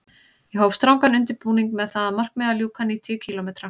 Ég hóf strangan undirbúning með það að markmiði að ljúka níutíu kílómetra